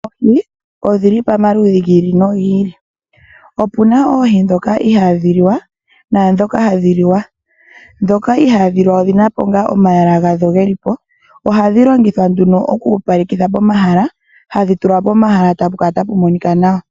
Oohi odhili pamaludhi gi ili nogi ili. Opuna oohi ndhoka ihaadhi liwa naandhoka hadhi liwa. Ndhoka ihaadhi liwa odhina po omalwaala gawo geli po. Ohadhi longithwa oku opalekitha pomahala, okutulwa pomahala, tapu kala tapu monika nawa.